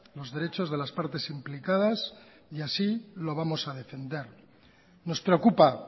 los derechos de las partes implicadas y así lo vamos a defender nos preocupa